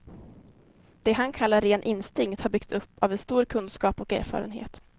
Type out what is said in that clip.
Det han kallar ren instinkt har byggts upp av en stor kunskap och erfarenhet.